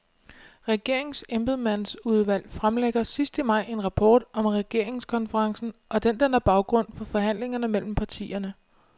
Regeringens embedsmandsudvalg fremlægger sidst i maj en rapport om regeringskonferencen, og den danner baggrund for forhandlingerne mellem partierne.